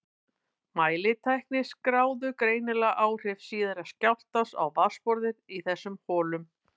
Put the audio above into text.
Mælitækin skráðu greinilega áhrif síðari skjálftans á vatnsborðið í þessum holum.